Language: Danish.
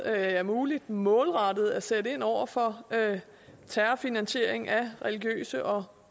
er muligt målrettet at sætte ind over for terrorfinansiering af religiøse og